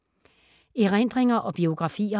Erindringer og biografier